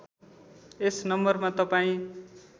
यस नम्बरमा तपाईँ